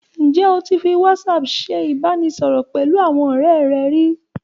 Ǹjẹ́ o ti fi WhatsApp ṣe ìbánisọ̀rọ̀ pẹ̀lú àwọn ọ̀rẹ́ rẹ rí?